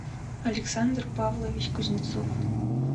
александр павлович кузнецов